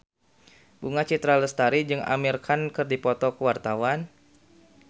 Bunga Citra Lestari jeung Amir Khan keur dipoto ku wartawan